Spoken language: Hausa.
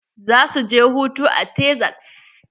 Za su je hutu a Texas.